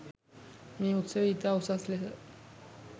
මේ උත්සවය ඉතා උසස් ලෙස